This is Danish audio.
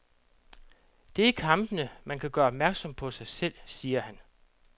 Det i kampene, man kan gøre opmærksom på sig selv, siger han.